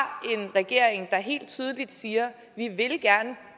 regering der helt tydeligt siger